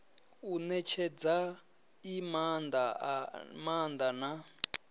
u netshedza i maanda na